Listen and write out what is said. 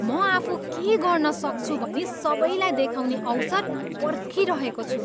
म आफू के गर्न सक्छु भनी सबैलाई देखाउने अवसर पर्खिरहेको छु।